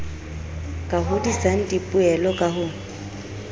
ka hodisang dipoelo ka ho